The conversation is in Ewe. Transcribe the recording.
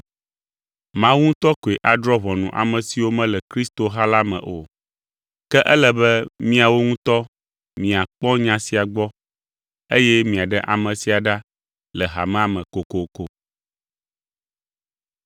Mawu ŋutɔ koe adrɔ̃ ʋɔnu ame siwo mele kristoha la me o. “Ke ele be miawo ŋutɔ miakpɔ nya sia gbɔ, eye miaɖe ame sia ɖa le hamea me kokoko.”